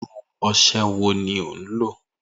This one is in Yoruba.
Iru ose wo ni o n lo?